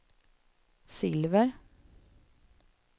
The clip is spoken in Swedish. silver